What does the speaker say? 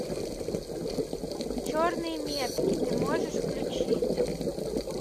черные метки ты можешь включить